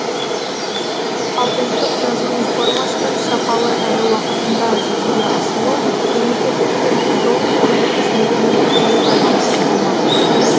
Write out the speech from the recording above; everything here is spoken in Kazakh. ал ұлттық жазу реформасының сапалы әрі уақытында жүзеге асуы мемлекеттік тілдің толыққанды қызметіне тікелей байланысты болмақ